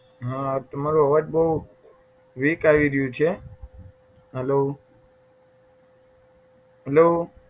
હા તમારો અવાજ બહુ weak આવી રહ્યો છે હલો હલો